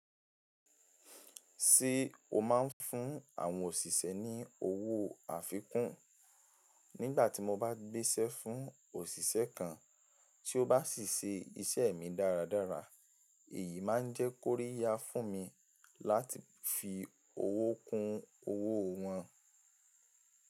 Ṣé o máa ń fún àwọn òṣìṣẹ́ ní owó àfikún? Nígbà tí mo bá gbéṣẹ́ fún òṣìṣẹ́ kan, tí ó bá sì ṣe iṣẹ́ mi dáradára, èyí máa ń jẹ́ kóríyá fún mi láti fi owó kun owó wọn.